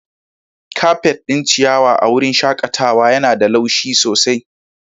Kafet ɗin ciyawa a wurin shakatawa yana da laushi sosai.